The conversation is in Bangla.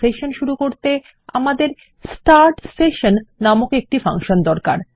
সেশন শুরু করতে আমাদের স্টার্ট সেশন নাম একটি ফাংশন দরকার